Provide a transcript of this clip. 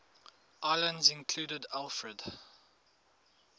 islands included alfred